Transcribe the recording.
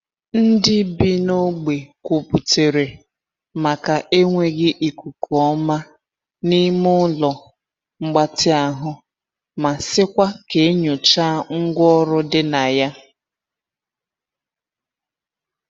Ndị bi n’ogbe kwuputere maka enweghị ikuku ọma n'ime ụlọ mgbatị ahụ ma sịkwa ka e nyochaa ngwa ọrụ di na ya.